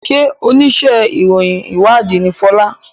ṣe onísé ìròyìn ìwádìí ní Fola?